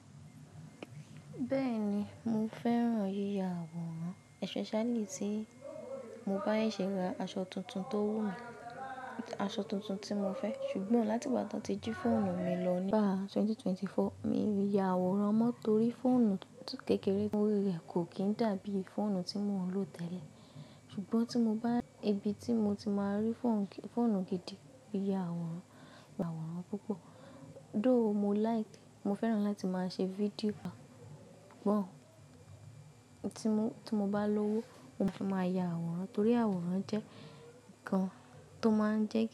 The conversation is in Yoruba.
Bẹ́ẹ̀ni, mo fẹ́ràn yíya àwòrán especially tí mo bá sẹsẹ ra aṣọ tuntun tó wù mí, aṣọ tuntun tí mo fẹ́. Ṣùgbọ́n láti ìgbà tí wọ́n ti jí fóònù mi lọ nígbà 2024, mi ò lè ya àwòrán mọ́ torí fóònù kékeré o rí rẹ̀ kò kín dàbí fóònù tí mò ń lò tẹ́lẹ̀. Ṣùgbọ́n tí mo bá-- ibi tí mo ti máa rí fóònù gidi, mo lè ya àwòrán, mo lè ya àwòrán púpọ̀. Though mo like, mo fẹ́ràn láti máa ṣe fídíò púpọ̀. Tí mo bá lówó, mo máa fi máa ya àwòrán torí àwòrán jẹ́ nǹkan tó máa ń jẹ́